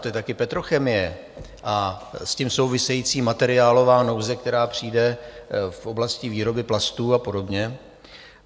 To je také petrochemie a s tím související materiálová nouze, která přijde v oblasti výroby plastů a podobně.